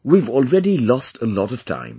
We have already lost a lot of time